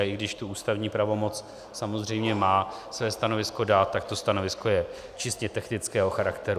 A i když tu ústavní pravomoc samozřejmě má své stanovisko dát, tak to stanovisko je čistě technického charakteru.